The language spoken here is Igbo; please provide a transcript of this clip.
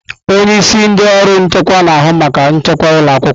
Onye isi ndị ọrụ nchekwa na-ahụ maka nchekwa ụlọ akwụkwọ.